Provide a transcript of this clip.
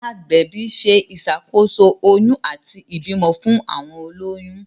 agbẹbi ṣe iṣàkóso oyún àti ibimọ fún àwọn oloyun.